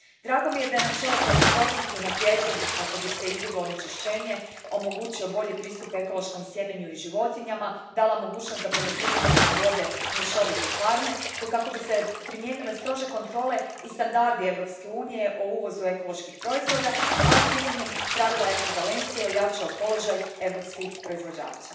Drago mi je da je načelo predostrožnosti unaprijeđeno kako bi se izbjeglo onečišćenje, omogućio bolji pristup ekološkom sjemenju i životinjama, dala mogućnost da poljoprivrednici vode mješovite farme te kako bi se primijenile strože kontrole i standardi Europske unije o uvozu ekoloških proizvoda, a ukidanjem pravila ekvivalencije ojačao položaj europskih proizvođača.